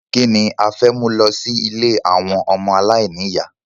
Kíni a fẹ́ mú lọ sí ilé àwọn ọmọ aláìníyà?